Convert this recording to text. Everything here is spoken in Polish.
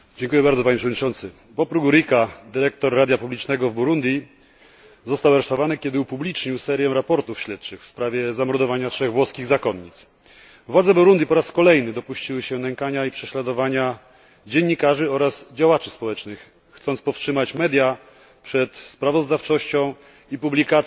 Panie Przewodniczący! Bob Rugurika, dyrektor radia publicznego w Burundi, został aresztowany, kiedy upublicznił serię raportów śledczych w sprawie zamordowania trzech włoskich zakonnic. Władze Burundi po raz kolejny dopuściły się nękania i prześladowania dziennikarzy oraz działaczy społecznych, chcąc powstrzymać media przed sprawozdawczością i publikacją